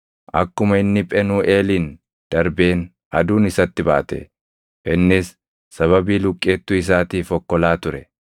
Akkuma inni Phenuuʼeelin darbeen aduun isatti baate; innis sababii luqqeettuu isaatiif okkolaa ture.